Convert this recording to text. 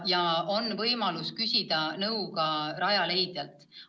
Ja on võimalus küsida nõu ka Rajaleidjalt.